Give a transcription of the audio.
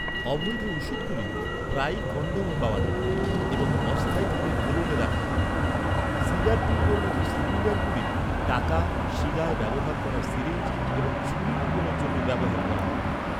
অবৈধ ওষুধগুলি প্রায়ই কনডমে পাওয়া যায় এবং অস্থায়ীভাবে কোলনে রাখা হয়। সিগার টিউবের মতো সিলিন্ডারগুলি টাকা, শিরায় ব্যবহার করার সিরিঞ্জ এবং ছুরি লুকনোর জন্য ব্যবহার করা হয়।